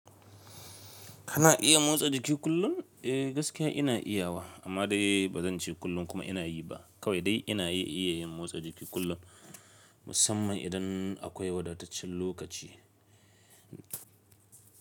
Kana iya motsa jiki kullum? Eh gaskiya ina iyawa amma dai ba zan ce kullum kuma ina yi ba kawai dai ina iya yin motsa jiki kullum musamman idan akwai wadataccen lokaci.